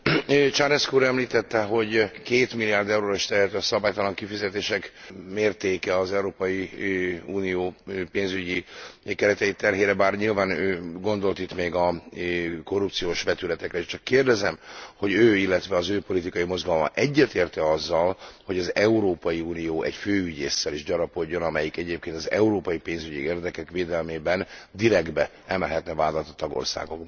Czarnecki úr említette, hogy 2 milliárd euróra is tehető a szabálytalan kifizetések mértéke az Európai Unió pénzügyi keretei terhére, bár nyilván ő gondolt itt még a korrupciós vetületekre is. Csak kérdezem, hogy ő, illetve az ő politikai mozgalma egyetért e azzal, hogy az Európai Unió egy főügyésszel is gyarapodjon, amelyik egyébként az európai pénzügyi érdekek védelmében direktben emelhetne vádat a tagországokban?